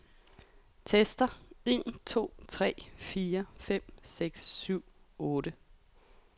Tester en to tre fire fem seks syv otte.